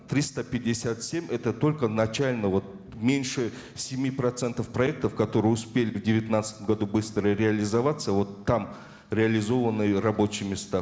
триста пятьдесят семь это только начально вот меньше семи процентов проектов которые успели в девятнадцатом году быстро реализоваться вот там реализованы рабочие места